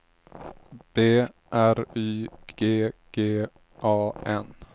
B R Y G G A N